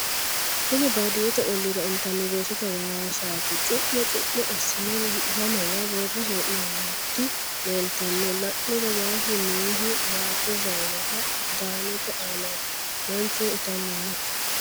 kuni baadiyete olliira intanni weesete waasati cu'mo cu'mo assine lamewa worre hee'noonniti leeeltanno la'niro waasu noohu waajjo zayinera agidaamete aanati manchuno itanni no